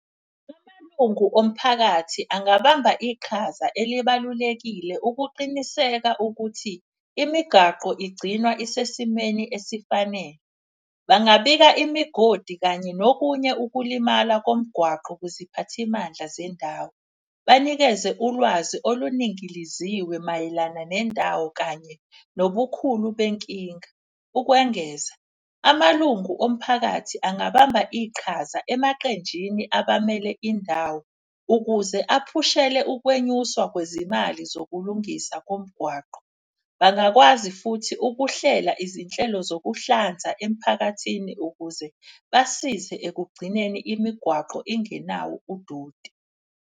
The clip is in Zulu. Amalungu omphakathi angabamba iqhaza elibalulekile ukuqiniseka ukuthi imigaqo igcina isesimeni esifanele. Bangabika imigodi kanye nokunye ukulimala komgwaqo kuziphathimandla zendawo. Banikeze ulwazi oluningiliziwe mayelana nendawo kanye nobukhulu benkinga. Ukwengeza, amalungu omphakathi angabamba iqhaza emaqenjini abamele indawo. Ukuze aphushele ukwenyuswa kwezimali zokulungisa komgwaqo. Bangakwazi futhi ukuhlela izinhlelo zokuhlanza emphakathini ukuze basize ekugcineni imigwaqo ingenawo udoti.